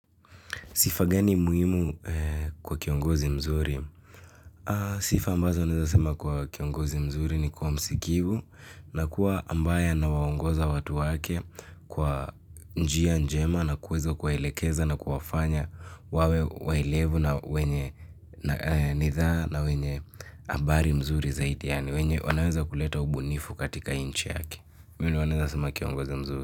Sifa gani muhimu kwa kiongozi mzuri? Sifa ambazo naweza sema kwa kiongozi mzuri ni kuwa msikivu na kuwa ambaye ana waongoza watu wake kwa njia njema na kuweza kuwaelekeza na kuwafanya wawe waelevu na wenye nidhaa na wenye habari mzuri zaidi yaani wenye wanaweza kuleta ubunifu katika nchi yake. Huyu ndio naweza sema kiongozi mzuri.